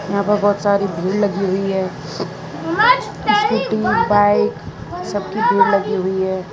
यहां पर बहुत सारी भीड़ लगी हुई है स्कूटी बाइक सबकी भीड़ लगी हुई है।